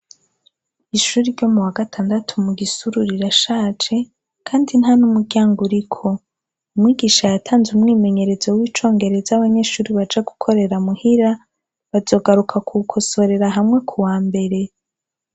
Ishure ryo muwagatandatu mugisuru rirashaje kandi ntanumuryango uriko umwigisha yatanze umwimenyerezo w’icongereza abanyeshure baja gukorera muhira bazogaruka kuwukosorera hamwe kuwambere.